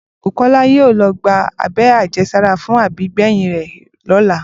Bùkó̩lá yóò lo̩ gba abé̩ré̩ àje̩sára fún àbígbè̩yìn rè̩ ló̩la